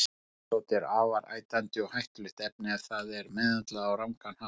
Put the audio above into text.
Vítissódi er afar ætandi og hættulegt efni ef það er meðhöndlað á rangan hátt.